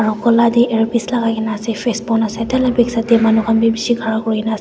aro gola teh earpiece lagai ke na ase face bon ase tah lah back side teh manu khan bi bishi khara kuri ke na ase.